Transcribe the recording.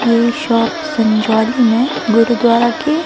ये शॉप संजौली में गुरुद्वारा के--